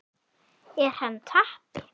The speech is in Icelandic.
Er hann tappi?